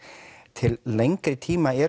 til lengri tíma er